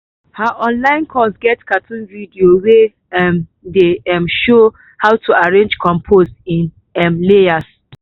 her online course get cartoon video wey um dey um show how to arrange compost in um layers.